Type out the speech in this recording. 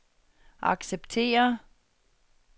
acceptere